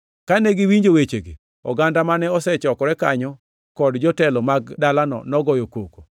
Kane giwinjo wechegi, oganda mane osechokore kanyo kod jotelo mag dalano nogoyo koko.